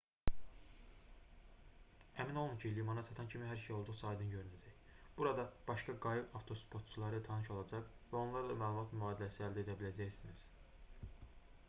əmin olun ki limana çatan kimi hər şey olduqca aydın görünəcək burada başqa qayıq avtostopçuları ilə tanış olacaq və onlarla məlumat mübadiləsi edə biləcəksiniz